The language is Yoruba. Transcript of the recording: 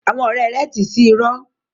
Àwọn ọrẹ rẹ ti sí irọ́.